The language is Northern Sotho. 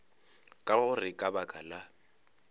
ka gore ka baka la